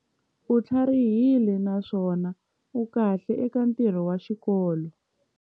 U tlharihile naswona u kahle eka ntirho wa xikolo.